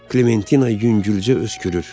Klementina yüngülcə öskürür.